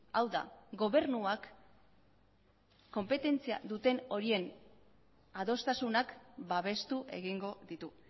hau da gobernuak konpetentzia duten horien adostasunak babestu egingo ditu